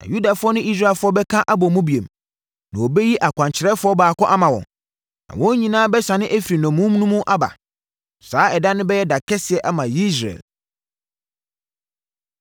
Na Yudafoɔ ne Israelfoɔ bɛka abɔ mu bio, na wɔbɛyi ɔkwankyerɛfoɔ baako ama wɔn, na wɔn nyinaa bɛsane afiri nnommum no mu aba. Saa ɛda no bɛyɛ da kɛseɛ ama Yesreel.”